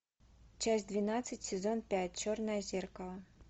часть двенадцать сезон пять черное зеркало